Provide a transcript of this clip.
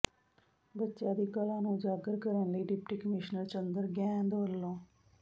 ਬੱਚਿਆਂ ਦੀ ਕਲਾ ਨੂੰ ਉਜਾਗਰ ਕਰਨ ਲਈ ਡਿਪਟੀ ਕਮਿਸ਼ਨਰ ਚੰਦਰ ਗੈਂਦ ਵੱਲ